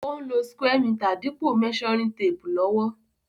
Ó n lo square meter dípò measuring tape lówó